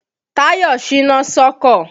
Tàyọ̀ ṣíná sọ́kọ̀.